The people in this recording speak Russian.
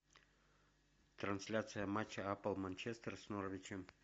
трансляция матча апл манчестер с норвичем